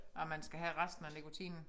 Og man skal have resten af nikotinen